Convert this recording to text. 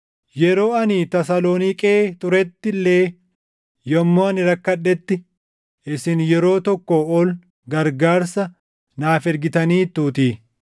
Yeroo ani Tasaloniiqee turetti illee yommuu ani rakkadhetti isin yeroo tokkoo ol gargaarsa naaf ergitaniituutii.